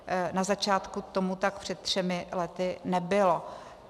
Na začátku tomu tak před třemi lety nebylo.